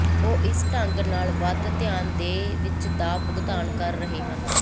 ਉਹ ਇਸ ਢੰਗ ਨਾਲ ਵੱਧ ਧਿਆਨ ਦੇ ਵਿੱਚ ਦਾ ਭੁਗਤਾਨ ਕਰ ਰਹੇ ਹਨ